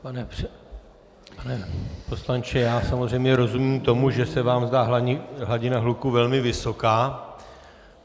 Pane poslanče, já samozřejmě rozumím tomu, že se vám zdá hladina hluku velmi vysoká.